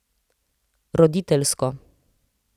Roditeljsko.